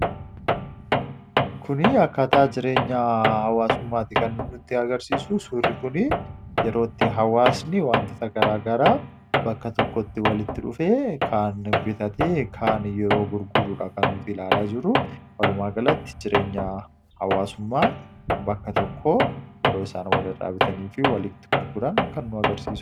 Kun akkaataa jireenya hawwaasummaati kan inni nuti agarsiisu suurri kuni yeroo itti jawaasni watoota gara garaa bakka tokkotti walitti dhufee kaan bitatee kaan yeroo gurgurudha kan nuti ilaalaa jirru. Walumaa galactic jireenya hawaasummaa bakka tokkoo yeroo isaan walirraa bitanii fi gurgutanidha kan inni mul'isu.